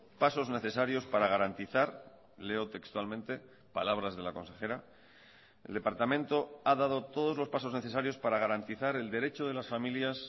pasos necesarios para garantizar leo textualmente palabras de la consejera el departamento ha dado todos los pasos necesarios para garantizar el derecho de las familias